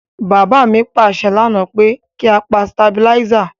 Bàbá mi pàsẹ lánáà pe ki a pa stabilizer